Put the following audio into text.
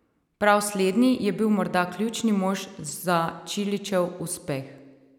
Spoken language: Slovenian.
Prav slednji je bil morda ključni mož za Čilićev uspeh.